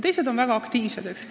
Teised on jälle väga aktiivsed.